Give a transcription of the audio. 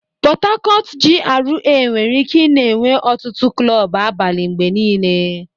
Port Harcourt GRA nwere ike ị-na enwe ọtụtụ klọb abalị mgbe niile.